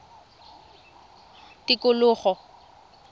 tikologo